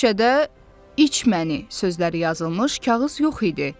Bu şüşədə "iç məni" sözləri yazılmış kağız yox idi.